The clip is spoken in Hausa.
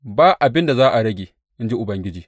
Ba abin da za a rage, in ji Ubangiji.